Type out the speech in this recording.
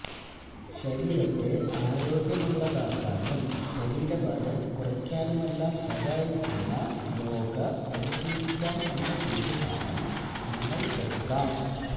ശരീരത്തെ ആരോഗ്യമുള്ളതാക്കാനും ശരീരഭാരം കുറയ്ക്കാനുമെല്ലാം സഹായിക്കുന്ന യോഗ പരിശീലിക്കാം എന്ന തീരുമാനം നിങ്ങൾക്കെടുക്കാം